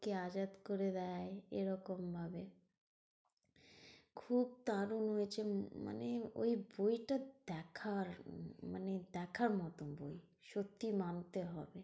কে আজাদ করে দেয় এরকম নয়। খুব দারুন হয়েছে মানে ওই বই টা দেখার মানে দেখার মতন বই সত্যি মানতে হবে।